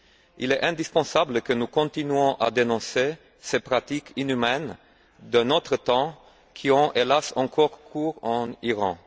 Il est indispensable que nous continuions à dénoncer ces pratiques inhumaines, d'un autre temps, qui ont, hélas, encore cours en Iran.